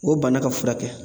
O bana ka furakɛ